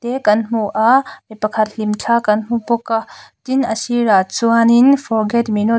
kan hmu a mi pakhat hlim thla kan hmu bawk a tin a sir a chuanin forget me not --